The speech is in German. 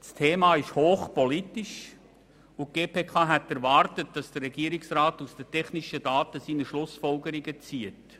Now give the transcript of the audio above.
Das Thema ist hochpolitisch, und die GPK hätte erwartet, dass der Regierungsrat aus den technischen Daten seine Schlussfolgerungen zieht.